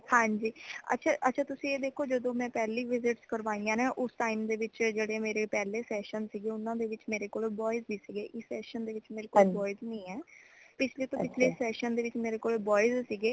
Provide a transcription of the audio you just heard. ਹਾਂਜੀ ਅੱਛਾ ਅੱਛਾ ਤੁਸੀ ਏ ਦੇਖੋ ਜਦੋ ਮੈ ਪਹਿਲੀ visit ਕਰਵਾਇਆ ਨਾ ਉਸ time ਦੇ ਵਿਚ ਜੇੜੇ ਮੇਰੇ ਪਹਲੇ session ਸੀਗੇ ਊਨਾ ਦੇ ਵਿਚ ਮੇਰੇ ਕੋਲੇ boys ਹੀ ਸੀਗੇ ਇਸ session ਦੇ ਵਿਚ ਮੇਰੇ ਕੋਲ boys ਨਈ ਹੈ ਪਿਛਲੇ ਤੋਂ ਪਿਛਲੇ session ਵਿਚ ਮੇਰੇ ਕੋਲ boys ਸੀਗੇ